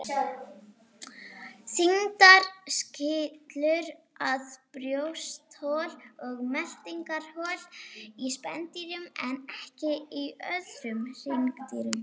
Þindin skilur að brjósthol og meltingarhol í spendýrum en ekki í öðrum hryggdýrum.